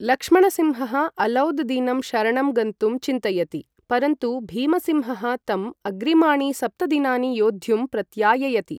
लक्ष्मणसिंहः अलौद् दीनं शरणं गन्तुं चिन्तयति, परन्तु भीमसिंहः तम् अग्रिमाणि सप्त दिनानि योद्धुं प्रत्याययति।